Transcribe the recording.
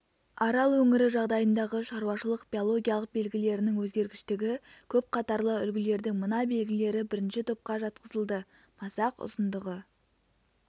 арал өңірі жағдайындағы шаруашылық-биологиялық белгілерінің өзгергіштігі көп қатарлы үлгілердің мына белгілері бірінші топқа жатқызылды масақ ұзындығы